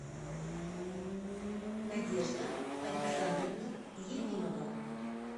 надежда александровна ефимова